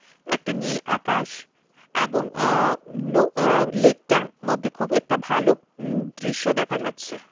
একটা নীল আকাশ এবং আ-নৌ-আ লেকটার মধ্যে খুব একটা ভালো উম দৃশ্য দেখা যাচ্ছে.